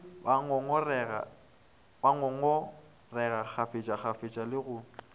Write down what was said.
ba ngongorega kgafetšakgafetša le go